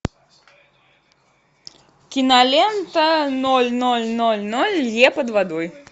кинолента ноль ноль ноль ноль лье под водой